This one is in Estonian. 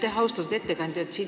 Aitäh, austatud ettekandja!